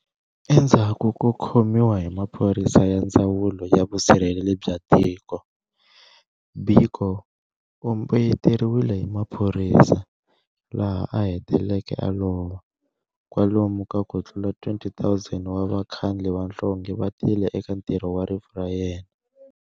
Endzhaku ko khomiwa hi maphorisa ya ndzawulo ya vusirheleri bya tiko, Biko u mbeyeteriwile hi maphorisa, laha aheteleke a lova. Kwalomu ka kutlula 20,000 wa vakhandli vanhlonge va tile eka ntirho wa rifu ra yena.